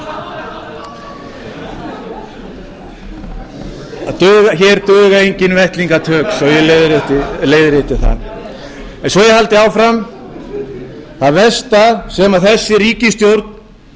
lengur hér duga engin vettlingatök svo ég leiðrétti það svo held ég áfram það versta sem þessi ríkisstjórn